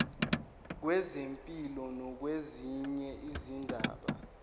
kwezempilo nakwezinye izindaba